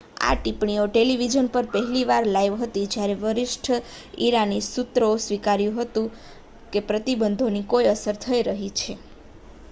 આ ટિપ્પણીઓ ટેલિવિઝન પર પહેલી વાર લાઇવ હતી જ્યારે વરિષ્ઠ ઈરાની સૂત્રોએ સ્વીકાર્યું છે કે પ્રતિબંધોની કોઈ અસર થઈ રહી છે